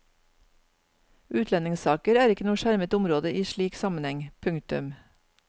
Utlendingssaker er ikke noe skjermet område i slik sammenheng. punktum